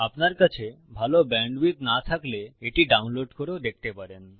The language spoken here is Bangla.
আপনার কাছে ভালো ব্যান্ডউইডথ না থাকলে এটি ডাউনলোড করেও দেখতে পারেন